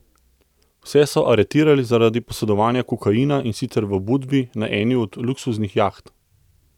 Vse so aretirali zaradi posedovanja kokaina, in sicer v Budvi na eni od luksuznih jaht.